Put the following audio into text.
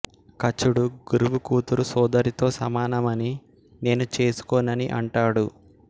కచుడు గురువు కూతురు సోదరితో సమానమని నేను చేసుకోనని అంటాడు